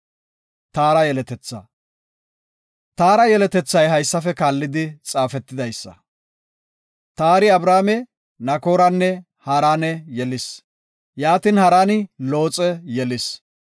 Taara yeletethay haysafe kaallidi xaafetidaysa; Taari Abrame, Nakooranne Haarane yelis. Yaatin Haraani Looxe yelis.